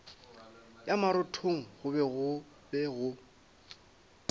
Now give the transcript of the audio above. ya marothong go be go